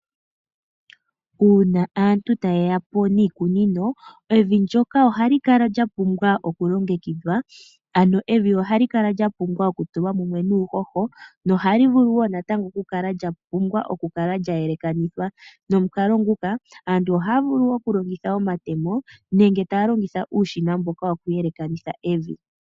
Uuna aantu tayeyapo niikunino, evi ndyoka ohali kala lya pumbwa okulongekidhwa, ano evi ohali kala lyapumbwa okutulwa mumwe nuuhoho, nohali vulu wo natango okukala lya pumbwa okukala lya yelekanithwa. Nomukalo nguka, aantu okukala taya longitha omatemo, nenge taya longitha uushina mboka woku yelekanitha evi.